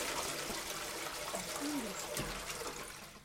архангельску